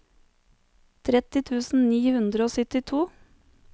tretti tusen ni hundre og syttito